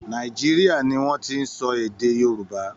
Nàìjíríà ni wọ́n ti ń sọ èè Yorùbá.